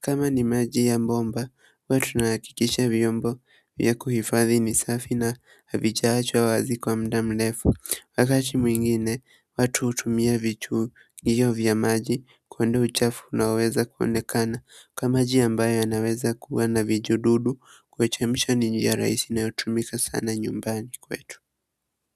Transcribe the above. Kama ni maji ya bomba, huatunahakikisha hio bomba ya kuhifadhi ni safi na havijaachwa wazi kwa muda mlefu. Wakati mwigine watu hutumia vichugio vya maji kuondoa uchafu unaoweza kuonekana kama njia ambayo inaweza kuwa n vijururu kuchemsha ni njia rahisi inayotumika sana nyumbani kwetu.